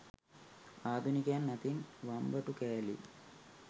ආධුනිකයන් අතින් වම්බටු කෑලි